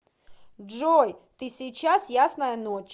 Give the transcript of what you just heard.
джой ты сейчас ясная ночь